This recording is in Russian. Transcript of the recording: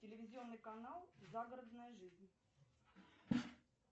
телевизионный канал загородная жизнь